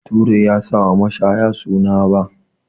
Bature ya sa wa mashaya suna 'Ba'